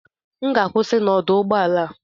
M ga-akwụsị na ọdụ ụgbọ ala a